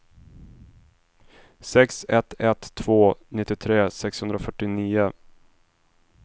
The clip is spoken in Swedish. sex ett ett två nittiotre sexhundrafyrtionio